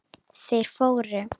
Þeir fóru.